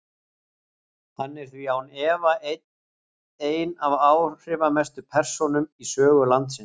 Hann er því án efa ein af áhrifamestu persónum í sögu landsins.